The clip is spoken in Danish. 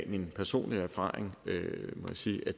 min personlige erfaring må jeg sige